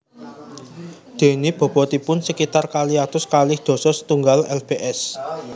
Déné bobotipun sakitar kalih atus kalih dasa setunggal lbs